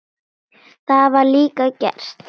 Það var líka gert.